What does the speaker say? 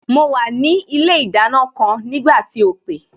Mo wà ní ilé ìdáná kan nígbà tí o pè